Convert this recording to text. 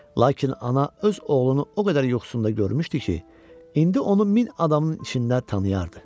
Lakin ana öz oğlunu o qədər yuxusunda görmüşdü ki, indi onu min adamın içində tanıyırdı.